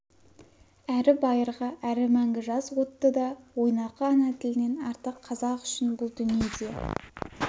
әрі байырғы әрі мәңгі жас отты да ойнақы ана тілінен артық қазақ үшін бұл дүниеде